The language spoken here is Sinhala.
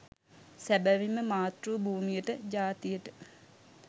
සැබවින්ම මාතෘ භූමියට ජාතියට